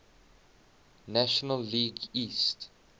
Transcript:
national league east